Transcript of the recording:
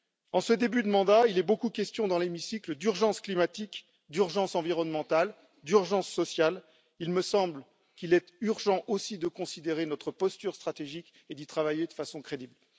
En ce début de mandat, il est beaucoup question dans l'hémicycle d'urgence climatique, d'urgence environnementale et d'urgence sociale, il me semble qu'il est urgent aussi de considérer notre posture stratégique et d'y travailler de façon crédible.